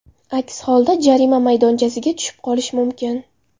Aks holda jarima maydonchasiga tushib qolish mumkin.